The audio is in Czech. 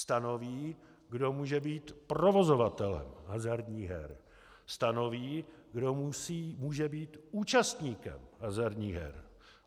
Stanoví, kdo může být provozovatelem hazardních her, stanoví, kdo může být účastníkem hazardních her.